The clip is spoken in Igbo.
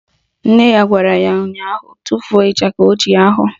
Nne ya gwara ya ụnyaahụ " Tufuo ịchaka ochie ahụ"!